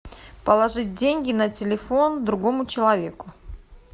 положить деньги на телефон другому человеку